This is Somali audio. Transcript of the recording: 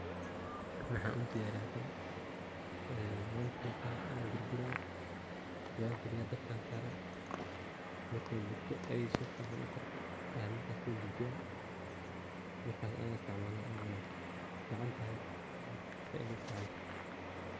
Tan maxan u diyariyaa, tan wanfiqaa, wan gurguraa, wankariyaa dab kan saraa markey burto aysi fican u karto ayan markas so dajiyaa markas ayan isticmala, oo an cunaa wey fican tahay zaid ayey u fican tahay.